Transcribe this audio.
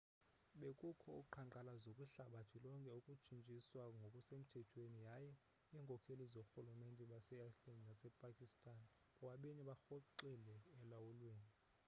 bekukho uqhankqalazo kwihlabathi lonke ukutshutshiswa ngokusemthethweni yaye iinkokheli zoorhulumente base-iceland nasepakistan bobabini barhoxile elulawulweni